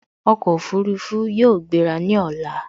Ọkọ̀ Òfurufú yóò gbera ní ọ̀la